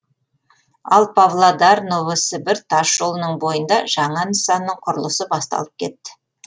ал павлодар новосібір тасжолының бойында жаңа нысанның құрылысы басталып кетті